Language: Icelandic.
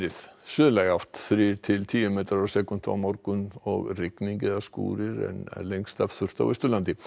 suðlæg átt þrír til tíu metrar á sekúndu á morgun og rigning eða skúrir en lengst af þurrt á Austurlandi